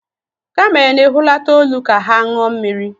kamel na-ehulata olu ka ha ṅụọ mmiri.